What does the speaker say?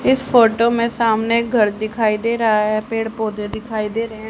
इस फोटो में सामने घर दिखाई दे रहा है पेड़ पौधे दिखाई दे रहे हैं।